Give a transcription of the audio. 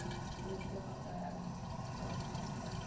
politieke partye instaatstellende